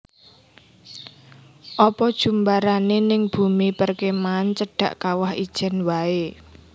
Opo jumbarane ning bumi perkemahan cedhak Kawah Ijen wae